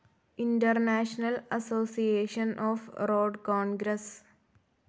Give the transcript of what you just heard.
international association of road Congress